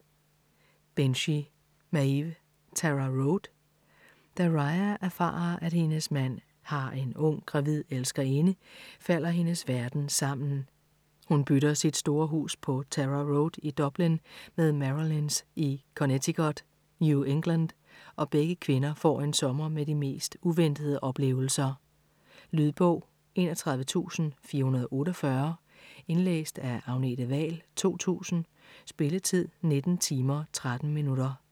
Binchy, Maeve: Tara Road Da Ria erfarer, at hendes mand har en ung, gravid elskerinde, falder hendes verden sammen. Hun bytter sit store hus på Tara Road i Dublin med Marilyn's i Connecticut, New England, og begge kvinder får en sommer med de mest uventede oplevelser. Lydbog 31448 Indlæst af Agnete Wahl, 2000. Spilletid: 19 timer, 13 minutter.